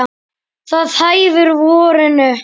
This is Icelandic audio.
Það hæfir vorinu.